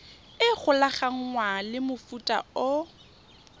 e golaganngwang le mofuta o